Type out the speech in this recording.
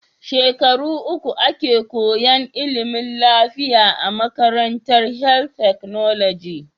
Shekara uku ake koyan ilimin lafiya a makarantar health technology